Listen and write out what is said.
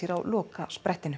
á lokasprettinum